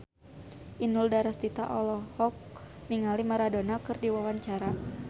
Inul Daratista olohok ningali Maradona keur diwawancara